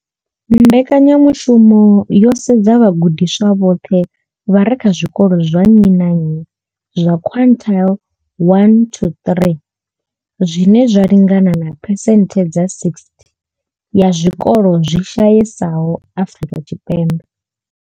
Mbekanya mushumo yo sedza vhagudiswa vhoṱhe vha re kha zwikolo zwa nnyi na nnyi zwa quintile 1-3 zwine zwa lingana na phesenthe dza 60 ya zwikolo zwi shayesaho Afrika Tshipembe.